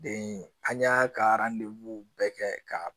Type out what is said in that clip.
an y'a ka bɛɛ kɛ ka